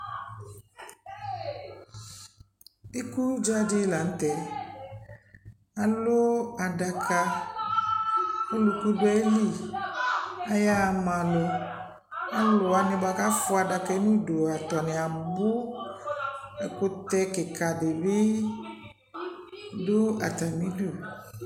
Ikudza dɩ la nʊtɛ Alʊ adaka Oluku dʊ ayili Ayaɣa ma alʊ Alʊwani bua kafwa adaja yɛ nʊ idu atani abʊ Ekʊtɛ kika dɩbɩ dʊ atami udu